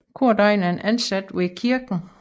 Kordegn er en ansat ved kirken